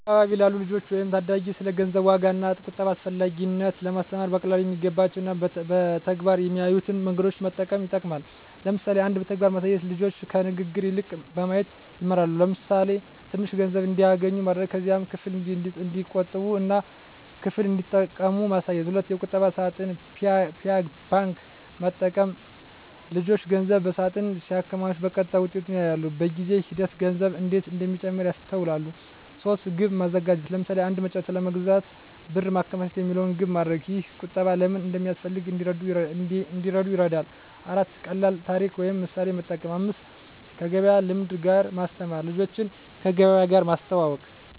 በአካባቢ ላሉ ልጆች ወይም ታዳጊ ስለ ገንዘብ ዋጋ እና ቁጠባ አስፈላጊነት ለማስተማር በቀላሉ የሚገባቸው እና በተግባር የሚያዩትን መንገዶች መጠቀም ይጠቅማል። ለምሳሌ 1. በተግባር ማሳየት ልጆች ከንግግር ይልቅ በማየት ይማራሉ። ለምሳሌ፣ ትንሽ ገንዘብ እንዲያገኙ ማድረግ። ከዚያም ክፍል እንዲቆጥቡ እና ክፍል እንዲጠቀሙ ማሳየት። 2. የቁጠባ ሳጥን (Piggy bank) መጠቀም ልጆች ገንዘብ በሳጥን ሲያከማቹ በቀጥታ ውጤቱን ያያሉ። በጊዜ ሂደት ገንዘቡ እንዴት እንደሚጨምር ያስተውላሉ። 3. ግብ ማዘጋጀት ለምሳሌ፣ “አንድ መጫወቻ ለመግዛት ብር ማከማቸት” የሚለውን ግብ ማድረግ። ይህ ቁጠባ ለምን እንደሚያገለግል እንዲረዱ ይረዳል። 4. ቀላል ታሪክ ወይም ምሳሌ መጠቀም 5. ከገበያ ልምድ ጋር ማስተማር ልጆችን ከገበያ ጋር ማስተዋወቅ።